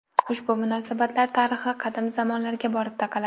Ushbu munosabatlar tarixi qadim zamonlarga borib taqaladi.